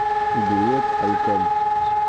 билет альком